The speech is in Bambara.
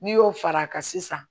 N'i y'o far'a kan sisan